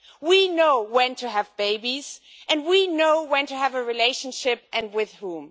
We know when to have babies and we know when to have a relationship, and with whom.